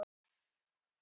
Gekk út!